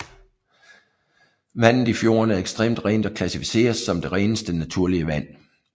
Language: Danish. Vandet i fjorden er ekstremt rent og klassificeres som det reneste naturlige vand